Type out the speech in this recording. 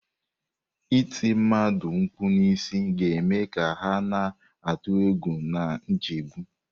Ịti ndị mmadụ mkpu n'isi ga-eme ka ha na-atụ egwu na nchegbu.